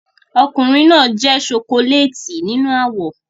Ọkùnrin náà jẹ́ ṣokoléètì nínú àwọ̀